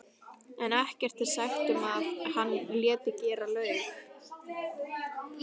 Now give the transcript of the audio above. en ekkert er sagt um að hann léti gera laug.